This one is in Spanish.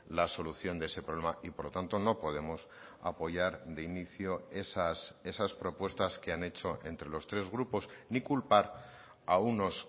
la solución de ese problema y por lo tanto no podemos apoyar de inicio esas propuestas que han hecho entre los tres grupos ni culpar a unos